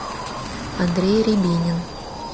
андрей рябинин